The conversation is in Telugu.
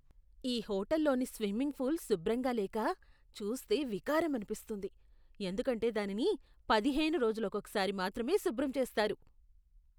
ఈ హోటల్లోని స్విమ్మింగ్ పూల్ శుభ్రంగా లేక, చూస్తే వికారమనిపిస్తుంది ఎందుకంటే దానిని పదిహేను రోజులకోసారి మాత్రమే శుభ్రం చేస్తారు.